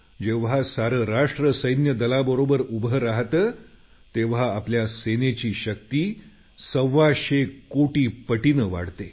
जेव्हा सारं राष्ट्र सैन्यदलाबरोबर उभं राहतं तेव्हा आपल्या सेनेची शक्ती सव्वाशे कोटी पटीनं वाढते